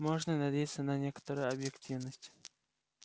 можно надеяться на некоторую объективность